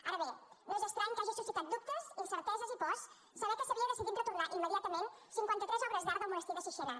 ara bé no és estrany que hagi suscitat dubtes incerteses i pors saber que s’havia decidit retornar immediatament cinquanta tres obres d’art del monestir de sixena